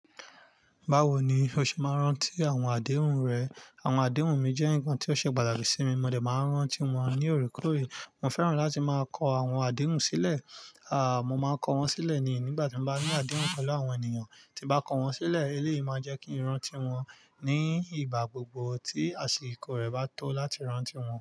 Bawo ni o ṣe máa ń rántí àwọn àdéhùn rẹ? Àwọn àdéhùn mi jẹ́ ǹkan tí ó ṣe pàtàkì sí mi, mo dẹ̀ máa ń rántí wọn ní òrékòóré. Mo fẹ́ràn láti máa kọ àwọn àdéhùn sílẹ̀, a, mo máa kọ wọ́n sílẹ̀ ni ìgbà tí mo bá ní àdéhùn pẹ̀lú àwọn ènìyàn, tí bá kọ wọ́n sílẹ̀, eléyìí máa jẹ́ kí n rántí wọn ní ìgbà gbogbo tí àsìkò rẹ̀ bá tó láti rántí wọn.